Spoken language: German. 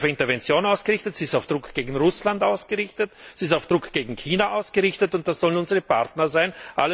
Sie ist auf Intervention ausgerichtet, sie ist auf Druck gegen Russland ausgerichtet, sie ist auf Druck gegen China ausgerichtet, und das sollen unsere Partner sein.